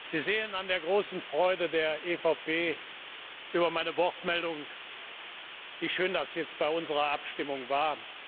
Sie sehen an der großen Freude der EVP ED Fraktion über meine Wortmeldung, wie schön das jetzt bei unserer Abstimmung war.